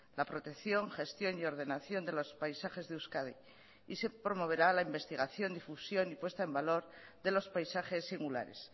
la protección gestión y ordenación de los paisajes de euskadi y se promoverá la investigación difusión y puesta en valor de los paisajes singulares